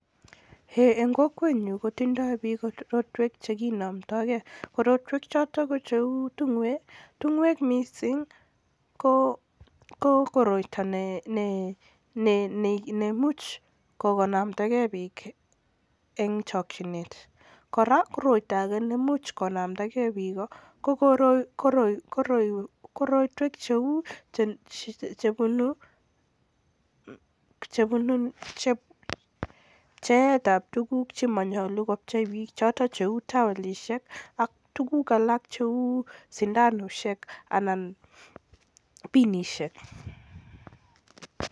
En kokwenyun kotindo biik korotwek chekinomdoige, korotwekchoton cheu ting'oek ko koroito neimuch konamda kei biik en chokyinet, kora pcheet ab tuguk chemolu kopchei biik cheu towelisiek, sundanusiek anan ko piniseik.